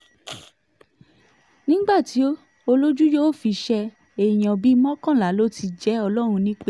nígbà tí olójú yóò fi ṣe é èèyàn bíi mọ́kànlá ló ti jẹ́ ọlọ́run nípẹ́